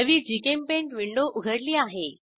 नवी जीचेम्पेंट विंडो उघडली आहे